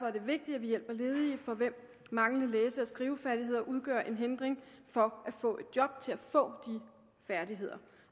er det vigtigt at vi hjælper ledige for hvem manglende læse og skrivefærdigheder udgør en hindring for at få et job til at få de færdigheder